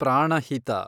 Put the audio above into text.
Pranahita